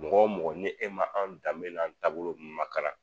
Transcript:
Mɔgɔ mɔgɔ ni e ma an danbe ni an taabolo ninnu makara.